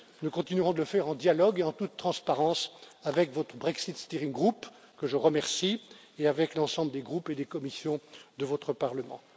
Nous continuerons de le faire en dialogue et en toute transparence avec votre Brexit steering group que je remercie, et avec l'ensemble des groupes et des commissions de votre Parlement.